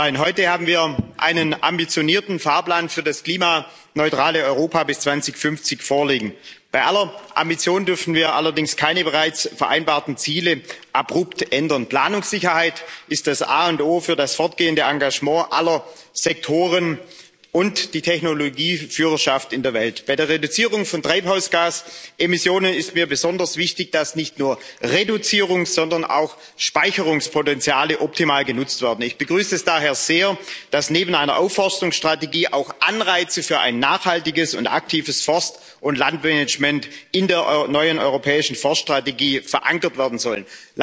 Frau Präsidentin, Herr Vizepräsident, liebe Kolleginnen und Kollegen! Wir können stolz sein Heute haben wir einen ambitionierten Fahrplan für das klimaneutrale Europa bis 2050 vorliegen. Bei aller Ambition dürfen wir allerdings keine bereits vereinbarten Ziele abrupt ändern. Planungssicherheit ist das A und O für das fortgehende Engagement aller Sektoren und die Technologieführerschaft in der Welt. Bei der Reduzierung von Treibhausgasemissionen ist mir besonders wichtig, dass nicht nur Reduzierungs sondern auch Speicherungspotenziale optimal genutzt werden. Ich begrüße es daher sehr, dass neben einer Aufforstungsstrategie auch Anreize für ein nachhaltiges und aktives Forst und Landmanagement in der neuen europäischen Forststrategie verankert werden sollen.